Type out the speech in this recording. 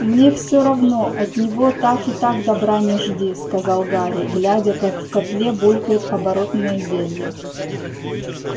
мне все равно от него так и так добра не жди сказал гарри глядя как в котле булькает оборотное зелье